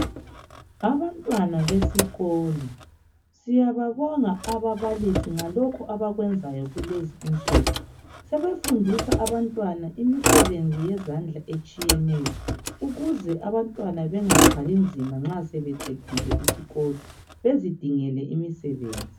Abantwana besikolo, siyababonga ababalisi bakulezinsiku sebefundisa abantwana imisebenzi yezandla etshiyeneyo ukuze bengathwali nzima nxa sebeqedile isikolo bezidingele imisebenzi.